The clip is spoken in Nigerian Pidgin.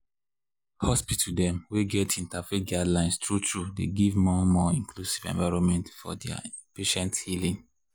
hospitals dem wey get interfaith guidelines true-true dey give more more inclusive environment for their patients healin’.